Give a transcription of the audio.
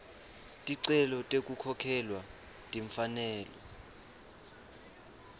ticelo tekukhokhelwa timfanelo